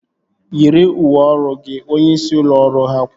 Yiri uwe ọrụ gị! Onyeisi ụlọ ọrụ ha kwuru